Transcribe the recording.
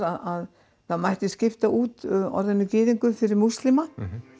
að það mætti skipta út orðinu gyðingur fyrir múslima